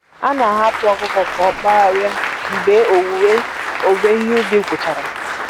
A na-ahapụ ọkụkọ ka okpagharia mgbe owuwe owuwe ihe ubi gwụchara.